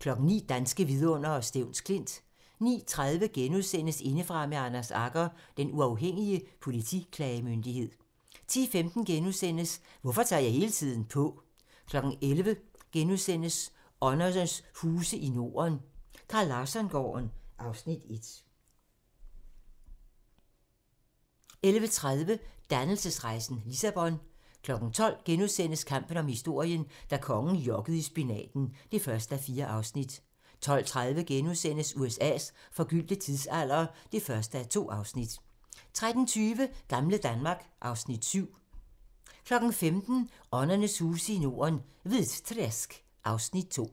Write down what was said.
09:00: Danske vidundere: Stevns Klint 09:30: Indefra med Anders Agger - Den Uafhængige Politiklagemyndighed * 10:15: Hvorfor tager jeg hele tiden på? * 11:00: Åndernes huse i Norden - Carl Larsson-gården (Afs. 1)* 11:30: Dannelsesrejsen - Lissabon 12:00: Kampen om historien - da kongen jokkede i spinaten (1:4)* 12:30: USA's forgyldte tidsalder (1:2)* 13:20: Gamle Danmark (Afs. 7) 15:00: Åndernes huse i Norden - Hvitträsk (Afs. 2)